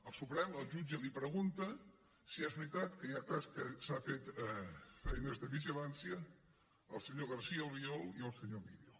al suprem el jutge li pregunta si és veritat que s’han fet feines de vigilància al senyor garcía albiol i al senyor millo